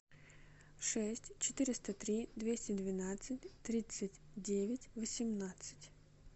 шесть четыреста три двести двенадцать тридцать девять восемнадцать